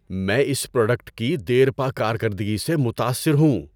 میں اس پروڈکٹ کی دیرپا کارکردگی سے متاثر ہوں۔